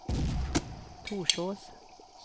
Torsås